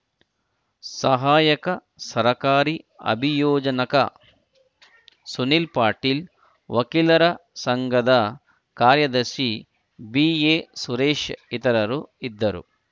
ಸಹಾಯಕ ಸರಕಾರಿ ಅಭಿಯೋಜನಕ ಸುನೀಲ್‌ ಪಾಟೀಲ್‌ ವಕೀಲರ ಸಂಘದ ಕಾರ್ಯದರ್ಶಿ ಬಿಎಸುರೇಶ್‌ ಇತರರು ಇದ್ದರು